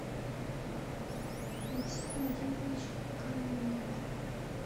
максим владимирович канунников